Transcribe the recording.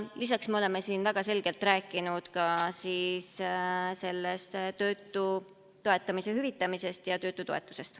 Lisaks oleme siin väga selgelt rääkinud ka töötuskindlustushüvitisest ja töötutoetusest.